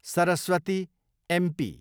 Saraswati, MP